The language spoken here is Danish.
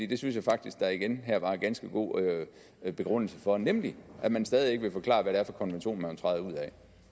det synes jeg faktisk der igen her var en ganske god begrundelse for nemlig at man stadig ikke vil forklare hvad